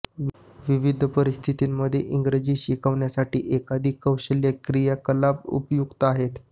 विविध परिस्थितिंमध्ये इंग्रजी शिकवण्यांसाठी एकाधिक कौशल्य क्रियाकलाप उपयुक्त आहेत